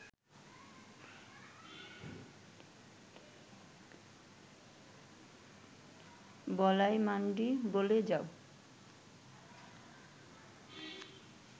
বলাই মান্ডি বলে “যাও